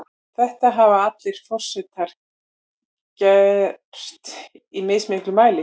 Þetta hafa allir forsetar gert, í mismiklum mæli þó.